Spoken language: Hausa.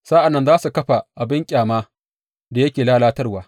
Sa’an nan za su kafa abin banƙyama da yake lalatarwa.